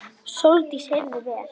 Sóldís heyrði vel.